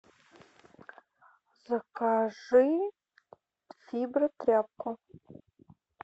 закажи фибротряпку